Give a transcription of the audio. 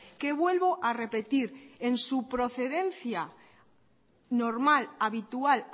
que vuelvo a repetir en su procedencia normal habitual